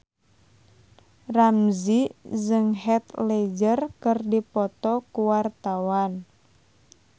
Ramzy jeung Heath Ledger keur dipoto ku wartawan